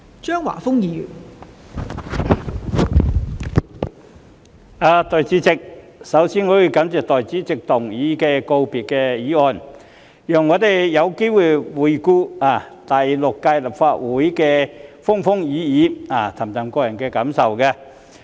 代理主席，我首先要感謝閣下動議告別議案，讓我們有機會回顧第六屆立法會的風風雨雨，抒發個人感受。